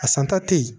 A santa te yen